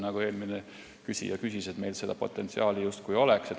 Nagu eelmine küsija ütles, meil seda potentsiaali justkui on.